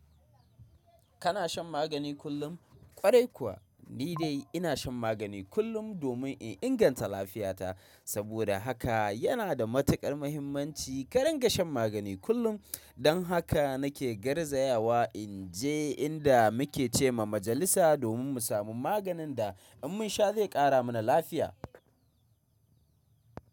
Kana shan magani kullum? Kwarai kuwa ni dai ina shan magani kullum domin in inganta lafiyata. Saboda haka yana da matukar muhimmanci ka ringa shan magani kullum. Don haka nake garzaya wa in je inda muke ce ma majalisa domin mu samu maganin da in mun sha zai kara mana lafiya.